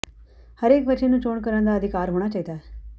ਹਰੇਕ ਬੱਚੇ ਨੂੰ ਚੋਣ ਕਰਨ ਦਾ ਅਧਿਕਾਰ ਹੋਣਾ ਚਾਹੀਦਾ ਹੈ